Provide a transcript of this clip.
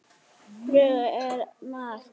Flugu eða maðk.